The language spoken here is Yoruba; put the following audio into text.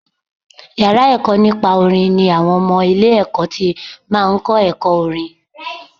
Yàrá ẹ̀kọ́ nípa orin ni àwọn ọmọ ilé ẹ̀kọ́ ti máa ń kọ́ ẹ̀kọ́ orin.